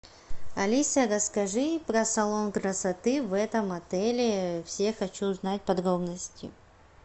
алиса расскажи про салон красоты в этом отеле все хочу узнать подробности